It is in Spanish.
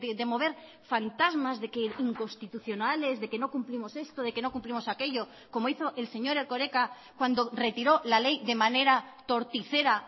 de mover fantasmas de que inconstitucionales de que no cumplimos esto de que no cumplimos aquello como hizo el señor erkoreka cuando retiró la ley de manera torticera